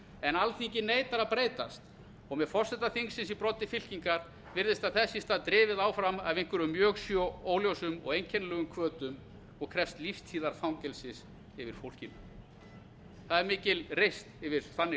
en alþingi neitar að breytast og með forseta þingsins í broddi fylkingar virðist það þess í stað drifið áfram af einhverjum mjög svo óljósum og einkennilegum hvötum og krefst lífstíðarfangelsis yfir fólkinu það er mikil reisn yfir þannig